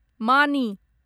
मानि